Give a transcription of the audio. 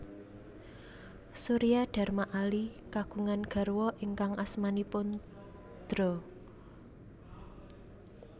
Suryadharma Ali kagungan garwa ingkang asmanipun Dra